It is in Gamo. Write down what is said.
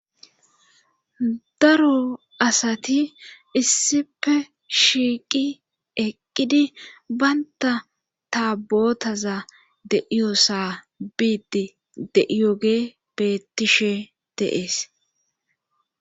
daro asati issife shiiqi eqqidi baynta ta bootaza deiyosa biidi deiyoge bettishe deees